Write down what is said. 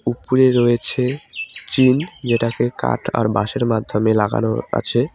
উপরে রয়েছে টিন যেটাকে কাট আর বাঁশের মাধ্যমে লাগানো আছে।